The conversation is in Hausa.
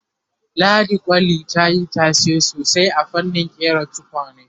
ladi kwali tayi tashe sosai a fannin ƙera tukwane